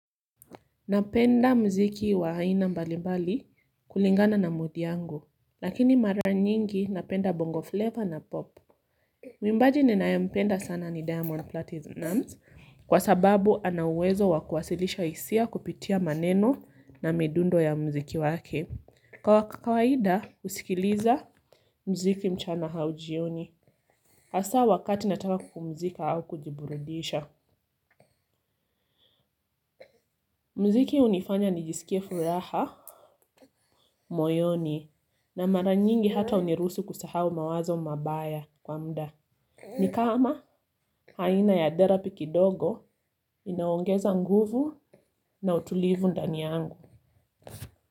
Napenda mziki wa aina mbali mbali kulingana na mood yangu lakini mara nyingi napenda bongo flavor na popu. Mwimbaji ninaye mpenda sana ni diamond platinum kwa sababu ana uwezo wa kuwasilisha hisia kupitia maneno na midundo ya mziki wake kwa kawaida usikiliza mziki mchana au jioni hasa wakati nataka kupumzika au kujiburudisha. Mziki hunifanya nijisikie furaha. Moyoni na mara nyingi hata uniruhusu kusahau mawazo mabaya kwa mda. Ni kama aina ya therapy kidogo inaongeza nguvu na utulivu ndani yangu.